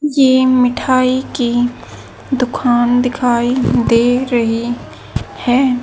ये मिठाई की दुखान दिखाई दे रही है।